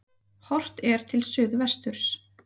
Horft er til suðvesturs.